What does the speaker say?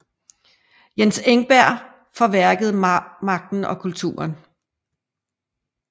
Jens Engberg for værket Magten og kulturen